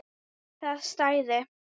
Það stæði.